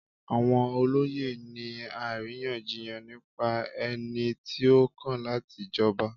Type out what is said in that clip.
Àwọn olóyè ń ní àríyànjiyàn nípa ẹni tí ó kàn láti jọba.